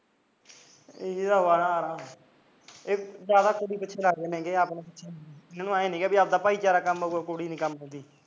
ਇਹ ਤਾਂ ਅਵਾਰਾ ਇਹ ਜਿਆਦਾ ਕੁੜੀ ਪਿੱਛੇ ਲੱਗ ਜਾਂਦੇ ਇਹ ਨੀ ਪਤਾ ਕੀ ਆਪਣਾ ਭਾਈਚਾਰਾ ਕੰਮ ਆਉਂਦਾ ਕੁੜੀ ਨੀ ਕੰਮ ਆਉਂਦੀ